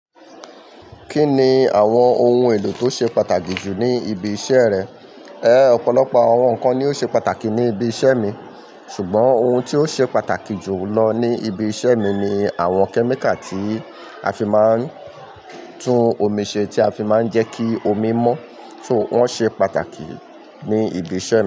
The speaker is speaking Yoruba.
Kí ni àwọn ohun èlò tó ṣe pàtàkì jù ní ibi iṣẹ́ rẹ? Ẹ̀ẹ́ ọ̀pọ̀lọpọ̀ àwọn nǹkan ni ó ṣe pàtàkì ní ibi iṣẹ́ mi. Ṣùgbọ́n ohun tí ó ṣe pàtàkì jù lọ ní ibi iṣẹ́ mi ni àwọn kẹ́míkà tí a fi máa ń tún omi ṣe tí a fi máa ń jẹ́ kí omi mọ́, so wọ́n ṣe pàtàkì ní ibi iṣẹ́ mi.